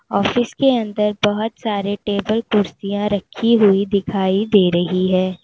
Office के अंदर बहुत सारे टेबल कुर्सियां रखी हुई दिखाई दे रही है।